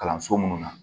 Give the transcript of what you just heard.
Kalanso minnu na